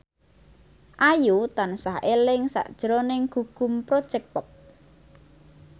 Ayu tansah eling sakjroning Gugum Project Pop